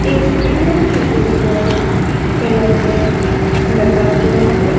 एक पिलर के ऊपर कैलेंडर लगा हुआ है।